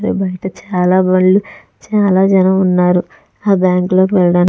బయట చాల బళ్ళు చాల జనం వున్నారు ఆ బ్యాంకు లోకి వెళ్ళ --